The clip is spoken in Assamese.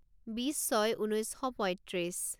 বিছ ছয় ঊনৈছ শ পইত্ৰিছ